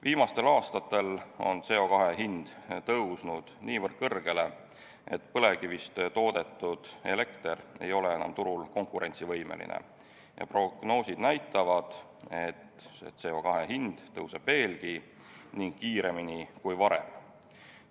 Viimastel aastatel on CO2 hind tõusnud niivõrd kõrgele, et põlevkivist toodetud elekter ei ole enam turul konkurentsivõimeline, ja prognoosid näitavad, et CO2 hind tõuseb veelgi ning kiiremini kui varem.